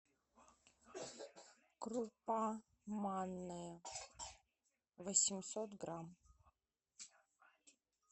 крупа манная восемьсот грамм